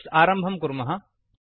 Eclipse आरम्भं कुर्मः